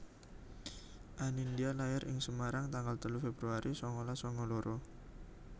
Anindya lair ing Semarang tanggal telu Februari sangalas sanga loro